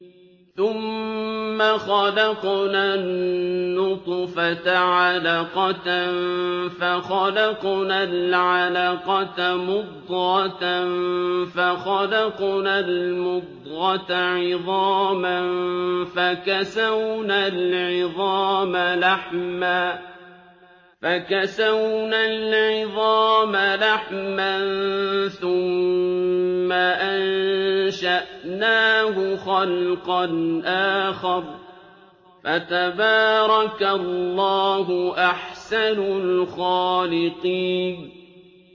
ثُمَّ خَلَقْنَا النُّطْفَةَ عَلَقَةً فَخَلَقْنَا الْعَلَقَةَ مُضْغَةً فَخَلَقْنَا الْمُضْغَةَ عِظَامًا فَكَسَوْنَا الْعِظَامَ لَحْمًا ثُمَّ أَنشَأْنَاهُ خَلْقًا آخَرَ ۚ فَتَبَارَكَ اللَّهُ أَحْسَنُ الْخَالِقِينَ